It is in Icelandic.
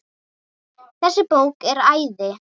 Þessi bók er æði.